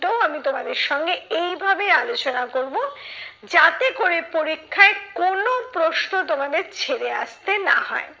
আমি তোমাদের সঙ্গে এই ভাবে আলোচনা করবো, যাতে করে পরীক্ষায় কোনো প্রশ্ন তোমাদের ছেড়ে আসতে না হয়।